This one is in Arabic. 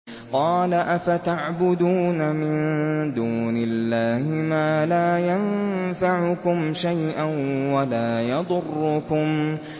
قَالَ أَفَتَعْبُدُونَ مِن دُونِ اللَّهِ مَا لَا يَنفَعُكُمْ شَيْئًا وَلَا يَضُرُّكُمْ